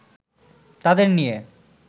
তাদের নিয়ে